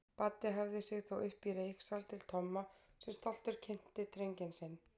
Baddi hafði sig þó uppí reyksal til Tomma sem stoltur kynnti drenginn sinn.